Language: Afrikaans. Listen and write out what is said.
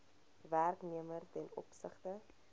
werknemer ten opsigte